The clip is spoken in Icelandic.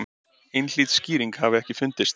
Einhlít skýring hafi ekki fundist.